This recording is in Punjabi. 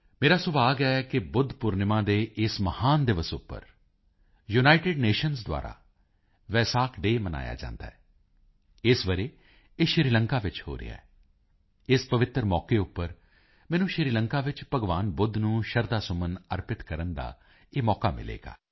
ਮੇਰਾ ਸੁਭਾਗ ਹੈ ਕਿ ਬੁੱਧ ਪੂਰਨਿਮਾ ਦੇ ਇਸ ਮਹਾਨ ਦਿਵਸ ਉੱਪਰ ਯੂਨਾਈਟਿਡ ਨੇਸ਼ਨਜ਼ ਦੁਆਰਾ ਵੇਸਕ ਡੇਅ ਮਨਾਇਆ ਜਾਂਦਾ ਹੈ ਇਸ ਵਰੇ ਇਹ ਸ਼੍ਰੀਲੰਕਾ ਚ ਹੋ ਰਿਹਾ ਹੈ ਇਸ ਪਵਿੱਤਰ ਮੌਕੇ ਉੱਪਰ ਮੈਨੂੰ ਸ਼੍ਰੀਲੰਕਾ ਵਿੱਚ ਭਗਵਾਨ ਬੁੱਧ ਨੂੰ ਸ਼ਰਧਾਸੁਮਨ ਅਰਪਿਤ ਕਰਨ ਦਾ ਇਹ ਮੌਕਾ ਮਿਲੇਗਾ